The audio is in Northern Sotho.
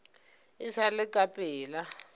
e sa le ka pela